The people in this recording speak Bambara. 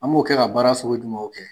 An b'o kɛ ka baara sogo jumɛnw kɛ ?